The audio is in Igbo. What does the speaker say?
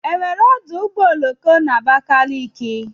Enwere ọdụ ụgbọ oloko na Abakaliki?